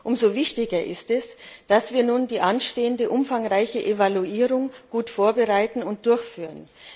Umso wichtiger ist es, dass wir nun die anstehende umfangreiche Evaluierung gut vorbereiten und durchführen.